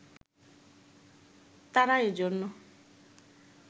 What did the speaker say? তারা এজন্য